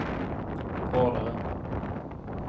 hårdare